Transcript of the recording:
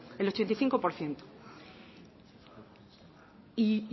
el ochenta y cinco por ciento y